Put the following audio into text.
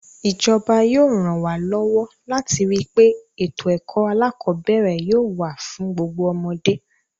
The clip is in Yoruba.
Ìjọba yóò ràn wá lọ́wọ́ láti rí pé ètò ẹ̀kọ́ alákọ̀ọ́bẹ̀ẹ̀rẹ̀ yóò wà fún gbogbo ọmọdé.